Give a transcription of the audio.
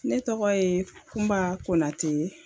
Ne tɔgɔ ye kunba Konate ye.